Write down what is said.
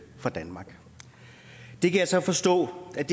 for danmark det kan jeg så forstå at